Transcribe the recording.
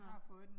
Nåh